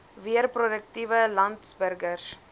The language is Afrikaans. weer produktiewe landsburgers